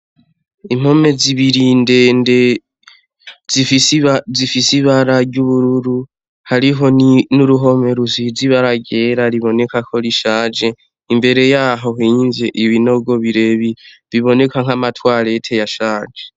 Impome zibiri ndende zifise ibara ry'ubururu hariho n'uruhome rusize ibara ryera riboneka ko rishaje imbere yaho bimvye ibinogo birebire biboneka nkama twarete yashaje.